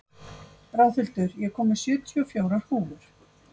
Ráðhildur, ég kom með sjötíu og fjórar húfur!